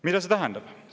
Mida see tähendab?